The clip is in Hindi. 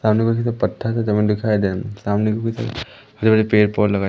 सामने पत्थर समान दिखाई दे सामने के पीछे हरे भरे पेड़ पौधे लगाए--